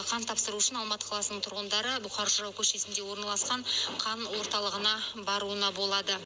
қан тапсыру үшін алматы қаласының тұрғындары бұқар жырау көшесінде орналасқан қан орталығына баруына болады